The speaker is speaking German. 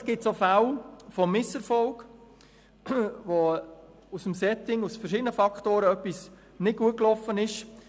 Natürlich gibt es auch Fälle von Misserfolgen, bei denen durch das Setting und durch verschiedene Faktoren bedingt etwas nicht gut gelaufen ist.